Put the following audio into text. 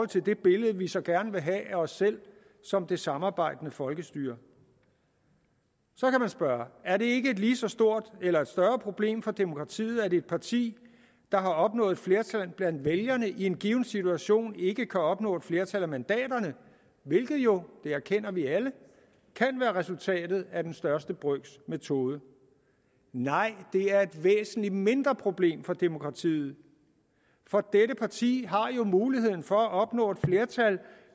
til det billede vi så gerne vil have af os selv som det samarbejdende folkestyre så kan man spørge er det ikke et lige så stort eller et større problem for demokratiet at et parti der har opnået flertal blandt vælgerne i en given situation ikke kan opnå et flertal af mandaterne hvilket jo det erkender vi alle kan være resultatet af den største brøks metode nej det er et væsentlig mindre problem for demokratiet for dette parti har jo muligheden for at opnå et flertal